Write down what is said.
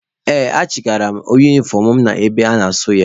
Ee, achigara m unifọm mụ ebe a ga-asụ ya.